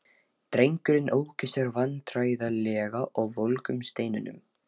Drengirnir óku sér vandræðalega á volgum steinunum.